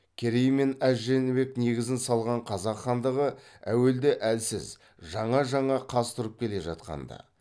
керей мен әз жәнібек негізін салған қазақ хандығы әуелде әлсіз жаңа жаңа қаз тұрып келе жатқанда